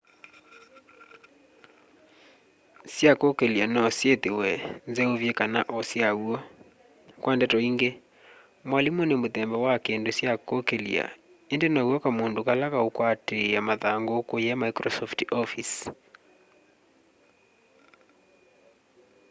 sya kũũkĩlya no syithiwe nzeuvye kana o syaw'o kwa ndeto ingi mwalimu nĩ muthemba wa kindu kya kuukilya indi now'o kamundu kala kaukwatiia mathangu kuya microsoft office